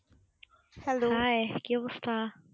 hi কি অবস্থা?